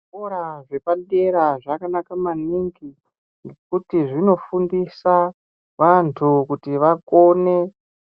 Zvikora zvepadera zvakanaka maningi ngekuti zvinofundisa vantu kuti vakone